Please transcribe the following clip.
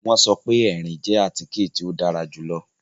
Wọn sọ pe ẹrin jẹ àtike to dàrà julọ